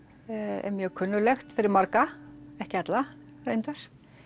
er mjög kunnuglegt fyrir marga ekki alla reyndar